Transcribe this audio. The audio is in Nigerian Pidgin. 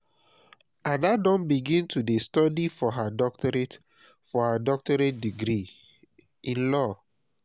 ada don begin to dey study for her doctorate for her doctorate degree in law